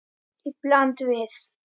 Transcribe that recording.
Í bland við